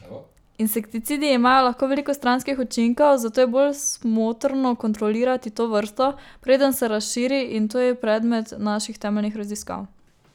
Skupaj izberita tudi funkcije, ki jih otrok zmore uporabljati in ki so varne za njegov internetni profil.